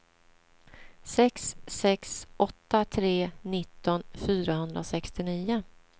sex sex åtta tre nitton fyrahundrasextionio